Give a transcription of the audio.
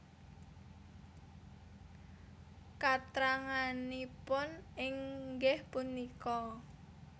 Katranganipun inggih punika